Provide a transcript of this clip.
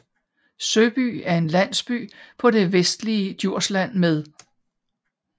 Søby er en landsby på det vestligste Djursland med